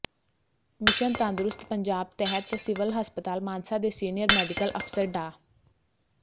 mission ਤੰਦਰੁਸਤ ਪੰਜਾਬ ਤਹਿਤ civil ਹਸਪਤਾਲ ਮਾਨਸਾ ਦੇ ਸੀਨੀਅਰ ਮੈਡੀਕਲ ਅਫ਼ਸਰ ਡਾ